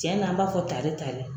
Cɛnna an b'a fɔ tare tare.